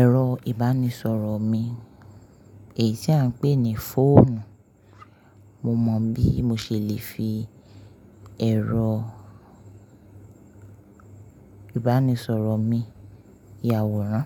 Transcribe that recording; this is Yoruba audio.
ẹ̀rọ ìbánisọ̀rọ̀ mi, èyí tí à ń pè ní fóònù. Mo mọ bí mo ṣe lè fi ẹ̀rọ ìbánisọ̀rọ̀ mi yàwòrán.